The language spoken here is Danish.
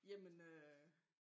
Jamen øh